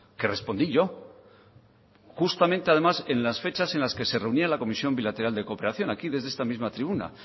que respondí yo justamente además en las fechas en las que se reunía la comisión bilateral de cooperación aquí desde esta misma tribuna